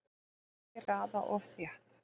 Ekki raða of þétt